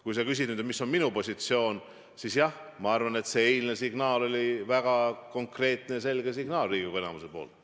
Kui sa küsid, mis on minu positsioon, siis jah, ma arvan, et eilne signaal Riigikogu enamuselt oli väga konkreetne ja selge.